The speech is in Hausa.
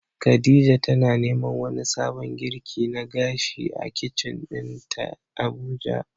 khadija tana neman wani sabon girki na gashi a kicin dinta Abuja.